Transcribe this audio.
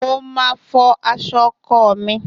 Mo Máa fọ aṣọ ọkọ mi.